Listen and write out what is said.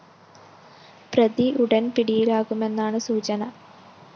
പ്രതി ഉടന്‍ പിടിയിലാകുമെന്നാണ് സൂചന